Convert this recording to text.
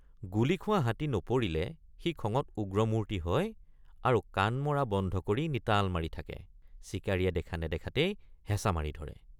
গুলী খোৱা হাতী নপৰিলে সি খঙত উগ্ৰমূৰ্তি হয় আৰু কাণ মৰা বন্ধ কৰি নিতাল মাৰি থাকে—চিকাৰীয়ে দেখা নেদেখাতেই হেঁচা মাৰি ধৰে।